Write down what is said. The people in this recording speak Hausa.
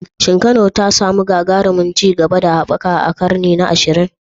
Shin Kano ta samu gagarumin ci gaba da haɓaka a karni na 20?